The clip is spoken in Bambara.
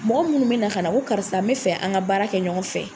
Mɔgɔ munnu be na ka na o karisa n be fɛ an ka baara kɛ ɲɔgɔn fɛ.